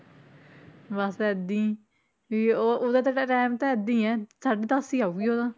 ਬਸ ਏਦਾਂ ਹੀ ਵੀ ਉਹ ਉਹਦਾ ਤਾਂ time ਤਾਂ ਏਦਾਂ ਹੀ ਹੈ, ਸਾਢੇ ਦਸ ਹੀ ਆਊਗੀ ਉਹ ਤਾਂ